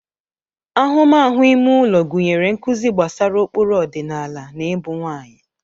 Ahụmahụ ime ụlọ gụnyere nkuzi gbasara ụkpụrụ ọdịnala na ibu nwanyị.